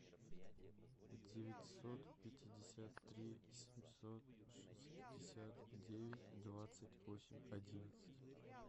девятьсот пятьдесят три семьсот шестьдесят девять двадцать восемь одиннадцать